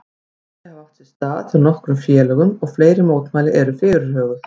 Mótmæli hafa átt sér stað hjá nokkrum félögum og fleiri mótmæli eru fyrirhuguð.